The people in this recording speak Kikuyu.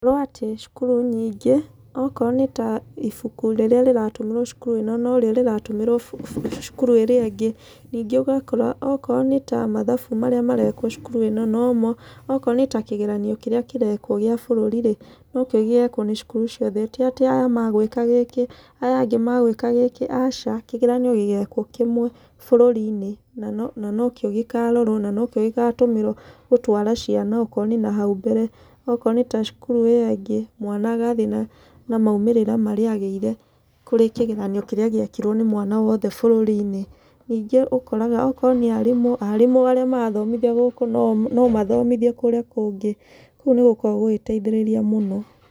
Gũkorwo atĩ cukuru nyingĩ, okorwo nĩ ta ibuku rĩrĩa rĩratũmĩrwo cukuru ĩno, no rĩo rĩratũmĩrwo cukuru ĩrĩa ĩngĩ. Ningĩ ũgakora okorwo nĩ ta mathabu marĩa marekwo cukuru ĩno, nomo. Okorwo nĩ ta kĩgernio kĩrĩa kĩrekwo gĩa bũrũri rĩ, no kĩo gĩgekwo nĩ cukuru ciothe. Ti atĩ aya magwĩka gĩkĩ aya angĩ magwĩka gĩkĩ, aca. Kĩgeranio gĩgekwo kĩmwe bũrũri-inĩ, na no na no kĩo gĩkarorwo, na no kĩo gĩgatũmĩrwo gũtwara ciana okorwo nĩ nahau mbere. Okorwo nĩ ta cukuru ĩyo ĩngĩ, mwana agathiĩ na na maumĩrĩra marĩa agĩire kũrĩ kĩgeranio kĩrĩa gĩekirwo nĩ mwana wothe bũrũri-inĩ. Nyingĩ ũkoraraga, okorwo nĩ aarimũ, aarimũ arĩa marathomithia gũkũ, no no mathomithie kũrĩa kũngĩ. Kũguo nĩ gũkoragwo gũgĩteithĩrĩria mũno.